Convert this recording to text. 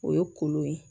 O ye kolo ye